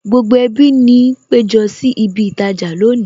Gbogbo ẹbí ni péjọ sí ibi īrajà lónìí